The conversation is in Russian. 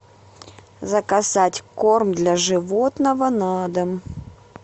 заказать корм для животного на дом